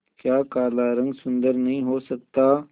क्या काला रंग सुंदर नहीं हो सकता